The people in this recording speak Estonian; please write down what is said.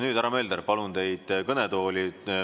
Nüüd, härra Mölder, palun teid kõnetooli.